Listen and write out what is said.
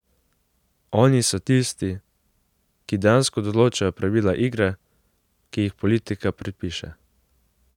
Oni so tisti, ki dejansko določajo pravila igre, ki jih politika predpiše.